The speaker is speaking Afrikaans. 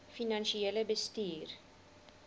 finansiële bestuur